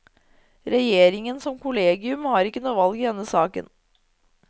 Regjeringen som kollegium har ikke noe valg i denne saken.